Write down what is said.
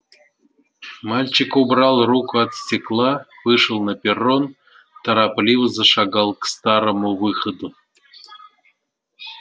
мальчик убрал руку от стекла вышел на перрон торопливо зашагал к старому выходу